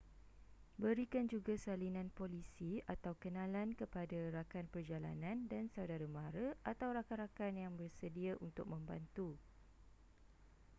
berikan juga salinan polisi/kenalan kepada rakan perjalanan dan saudara-mara atau rakan-rakan yang bersedia untuk membantu